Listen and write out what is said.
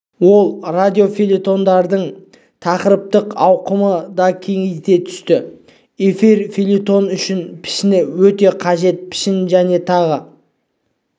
ол радиофельетондардың тақырыптық ауқымын да кеңейте түсті эфир фельетоны үшін пішін өте қажет пішін және тағы